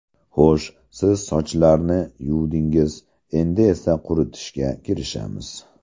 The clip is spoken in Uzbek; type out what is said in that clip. Xo‘sh, siz sochlarni yuvdingiz endi esa quritishga kirishamiz.